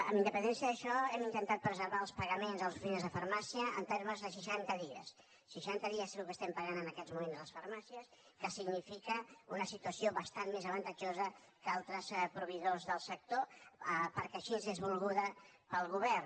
amb independència d’això hem intentat preservar els pagaments a les oficines de farmàcia en termes de seixanta dies seixanta dies és el que estem pagant en aquests moments a les farmàcies que significa una situació bastant més avantatjosa que altres proveïdors del sector perquè així és volguda pel govern